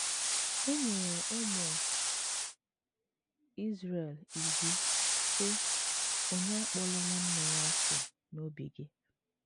E nyere ụmụ Izrel iwu, sị: “ Onye Akpọla nwanne ya asị n’obi gị. ”